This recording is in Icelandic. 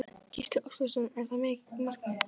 Gísli Óskarsson: Er það markmiðið?